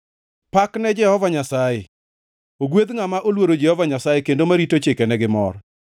Pak ne Jehova Nyasaye! Ogwedh ngʼama oluoro Jehova Nyasaye, kendo marito chikene gi mor.